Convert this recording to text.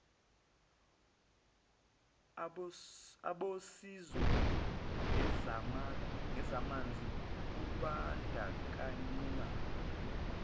abosizo ngezamanzi kubandakanywa